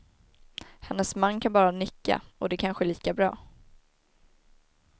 Hennes man kan bara nicka och det är kanske lika bra.